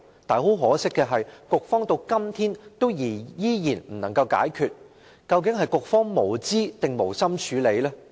但很可惜的是，局方到今天依然未能解決，究竟是局方無知，抑或無心處理？